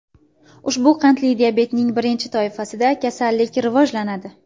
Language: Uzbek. Ushbu qandli diabetning birinchi toifasida kasallik rivojlanadi.